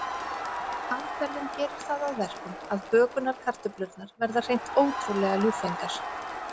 Aðferðin gerir það að verkum að bökunarkartöflurnar verða hreint ótrúlega ljúffengar.